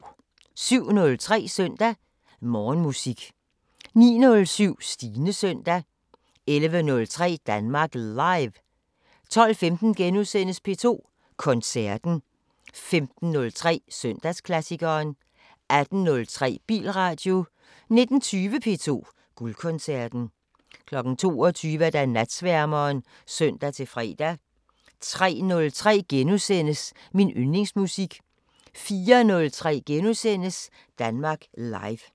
07:03: Søndag Morgenmusik 09:07: Stines søndag 11:03: Danmark Live 12:15: P2 Koncerten * 15:03: Søndagsklassikeren 18:03: Bilradio 19:20: P2 Guldkoncerten 22:00: Natsværmeren (søn-fre) 03:03: Min yndlingsmusik * 04:03: Danmark Live *